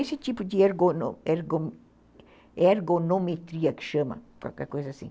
Esse tipo de ergo ergo ergometria que chama, qualquer coisa assim.